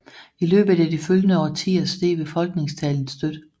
I løbet af de følgende årtier steg befolkningstallet støt